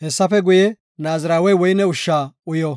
Hessafe Godaas Naazirawey woyne ushsha uyo.